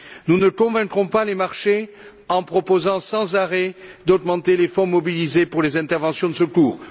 Nous ne convaincrons pas les marchés en proposant sans arrêt d'augmenter les fonds mobilisés pour les interventions de secours.